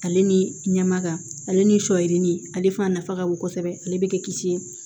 Ale ni ɲɛmaga ale ni sɔ yirinin ale fana nafa ka bon kosɛbɛ ale bɛ kɛ kisi ye